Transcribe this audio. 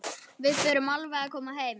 Við förum alveg að koma heim.